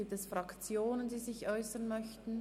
Gibt es Fraktionen, die sich äussern möchten?